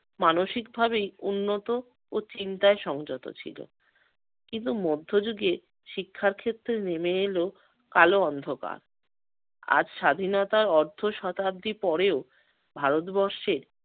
মানসিকভাবেই উন্নত ও চিন্তায় সংযত ছিল। কিন্তু মধ্যযুগে শিক্ষার ক্ষেত্রে নেমে এলো কালো অন্ধকার। আজ স্বাধীনতার অর্ধ শতাব্দী পড়েও ভারতবর্ষে-